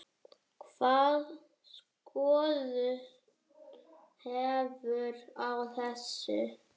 Hvaða skoðun hefurðu á þessu?